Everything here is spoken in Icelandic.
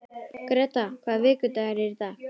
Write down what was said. Gréta, hvaða vikudagur er í dag?